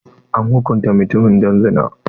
An hukunta mutumin don zina.